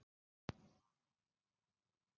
Hrund: Hverjar nákvæmlega eru kröfurnar hjá ykkur?